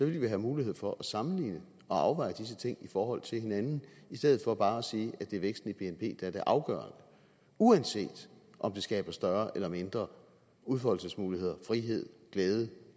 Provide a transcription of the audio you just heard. vi have mulighed for at sammenligne og afveje disse ting i forhold til hinanden i stedet for bare at sige at det er væksten i bnp der er det afgørende uanset om den skaber større eller mindre udfoldelsesmuligheder frihed glæde